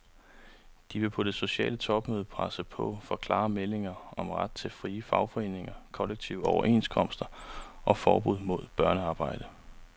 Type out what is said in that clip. De vil på det sociale topmøde presse på for klare meldinger om ret til frie fagforeninger, kollektive overenskomster og forbud mod børnearbejde.